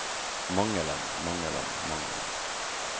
mangelen mangelen mangelen